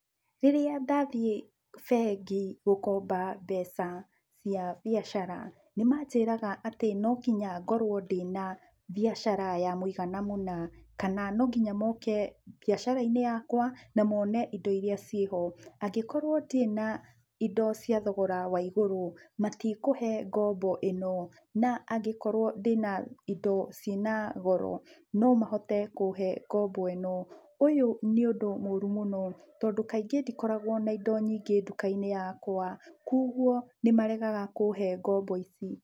Rĩrĩa ndathiĩ, bengi gũkomba mbeca cia mbiacara, nĩmanjĩraga atĩ no nginya ngorũo ndĩna, mbiacara ya mũigana mũna, kana no nginya moke mbiacara-inĩ yakwa na mone indo iria ciĩho. Angĩkorũo ndirĩ na indo cia thogora wa igũrũ, matikũhe ngombo ĩno, na angĩkorũo ndĩna indo ciĩ na goro nomahote kũhe ngombo ĩno. Ũyũ nĩ ũndũ mũru mũno, tondũ kaingĩ ndikoragũo na indo nyingĩ nduka-inĩ yakwa, kuoguo nĩmaregaga kũhe ngombo ici.